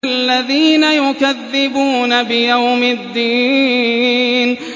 الَّذِينَ يُكَذِّبُونَ بِيَوْمِ الدِّينِ